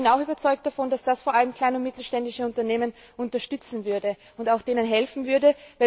Ich bin auch überzeugt davon, dass das vor allem kleine und mittelständische Unternehmen unterstützen würde und ihnen auch helfen würde.